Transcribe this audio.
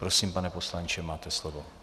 Prosím, pane poslanče, máte slovo.